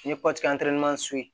N'i ye so ye